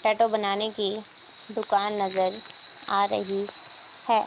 Tattoo बनाने की दुकान नजर आ रही है।